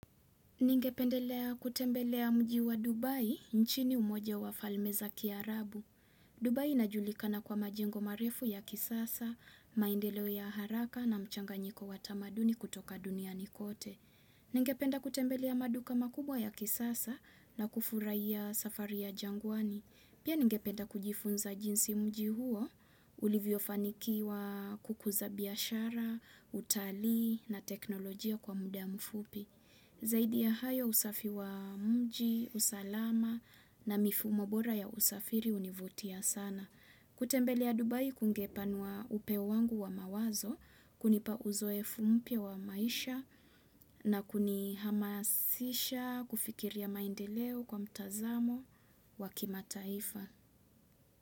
Ningependelea kutembelea mji wa Dubai nchini umoja wa falme za ki Arabu. Dubai inajulikana kwa majingo marefu ya kisasa, maindelo ya haraka na mchanga nyiko watamaduni kutoka dunia nikote. Ningependa kutembelea maduka makubwa ya kisasa na kufurai ya safari ya jangwani. Pia ningependa kujifunza jinsi mjihuo ulivyo fanikiwa kukuza biyashara, utali na teknolojia kwa muda mfupi. Zaidi ya hayo usafi wa mji, usalama na mifumo bora ya usafiri hunivutia sana. Kutembele ya Dubai kungepanwa upeo wangu wa mawazo, kunipa uzoefu mpia wa maisha na kuni hamasisha kufikiria maindeleo kwa mtazamo wa kimataifa.